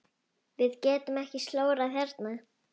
Við getum ekki slórað hérna.